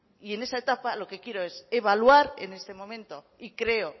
y en esa etapa lo que quiero es evaluar en este momento y creo